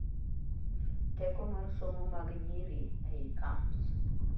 Teko mar somo mag nyiri ei Camps